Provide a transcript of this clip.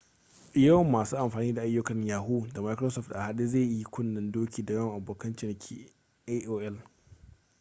yawan masu amfani da ayyukan yahoo da microsoft a haɗe zai yi kunnen-doki da yawan abokan cinikin aol